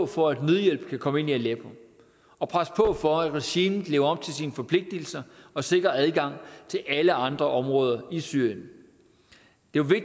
for at nødhjælp kan komme ind i aleppo og presse på for at regimet lever op til sine forpligtelser og sikrer adgang til alle andre områder i syrien